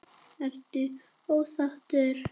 Ertu ósáttur?